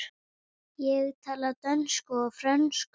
Ég tala dönsku og frönsku.